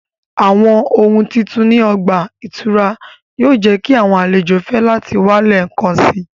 Awọn ohun titun ni ọgba-ìturá yoo jẹ ki awọn alejo fẹ lati wa lẹẹkansi